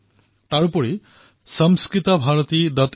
ঠিক সেইদৰে yourstorycom ত যুৱ উদ্যমীসকলৰ সফলতাৰ খবৰসমূহ প্ৰদান কৰা হৈছে